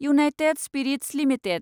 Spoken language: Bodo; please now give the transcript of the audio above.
United Spirits limited